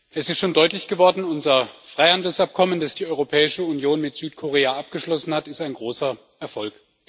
Es ist schon deutlich geworden Unser Freihandelsabkommen, das die Europäische Union mit Südkorea abgeschlossen hat, ist ein großer Erfolg.